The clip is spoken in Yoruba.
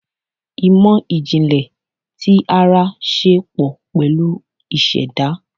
Ìmò ìjìnlẹ̀ tí ara ṣe pọ̀ pẹ̀lú ìṣẹ̀dá.